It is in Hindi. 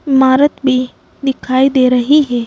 इमारत भी दिखाई दे रही है।